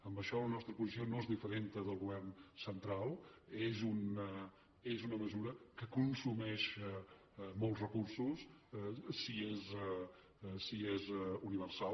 en això la nostra posició no és diferent del govern central és una mesura que consumeix molts recursos si és universal